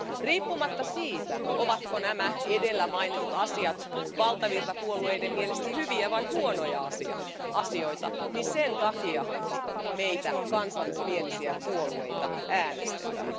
Riippumatta siitä, ovatko nämä edellä mainitut asiat valtavirtapuolueiden mielestä hyviä vai huonoja asioita, niin sen takia meitä kansallismielisiä puolueita äänestetään.